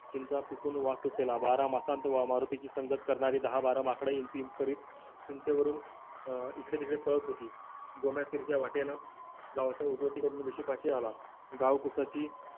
चिंता पिकून वास सुटलेला वारा वासंत मारुतीची संगत करणारी दहा-बारा माकड इंच इंच चिंचेवरून अं इकडे तिकडे पळत होती गोम्य तिरक्या वाटेनं गावच्या उगवती रोडवरनं वीशिपाशी आला गाव कुसाची